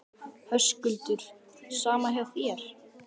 Höskuldur: Sama hjá þér?